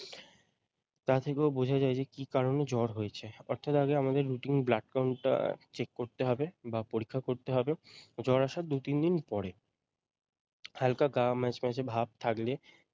তা থেকেও বোঝা যায় যে কি কারণে জ্বর হয়েছে অর্থাৎ আগে আমাদের routine blood count টা check করতে হবে বা পরীক্ষা করতে হবে জ্বর আসার দুই তিনদিন পরে হালকা গা ম্যাচমেচে ভাব থাকলে ।